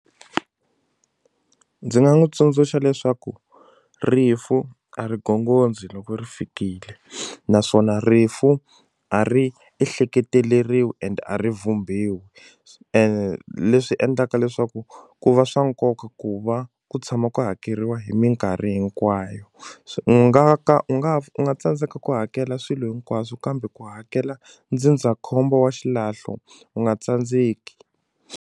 Ndzi nga n'wi tsundzuxa leswaku rifu a ri gongondzi loko ri fikile naswona rifu a ri ehleketeleriwi and a ri vhumbiwi and leswi endlaka leswaku ku va swa nkoka ku va ku tshama ku hakeriwa hi minkarhi hinkwayo u nga ka u nga u nga tsandzeka ku hakela swilo hinkwaswo kambe ku hakela ndzindzakhombo wa xilahlo u nga tsandzeki.